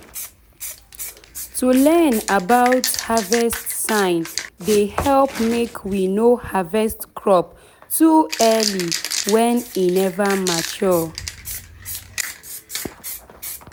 to learn about harvest sign dey help make we no harvest crop too early when e nver mature